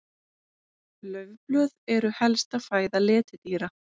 Laufblöð eru helsta fæða letidýra.